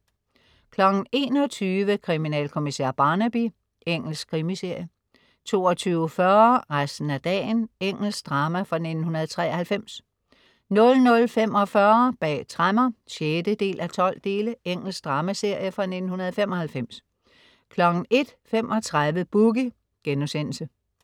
21.00 Kriminalkommissær Barnaby. Engelsk krimiserie 22.40 Resten af dagen. Engelsk drama fra 1993 00.45 Bag tremmer 6:12. Engelsk dramaserie fra 1995 01.35 Boogie*